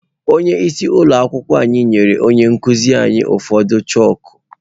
Onyeisi ụlọ akwụkwọ ahụ nyere onye nkụzi anyị ụfọdụ chakụ.